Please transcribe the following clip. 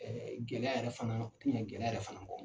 Ɛɛ gɛlɛya yɛrɛ fana ti ɲɛ gɛlɛya yɛrɛ fana kɔ.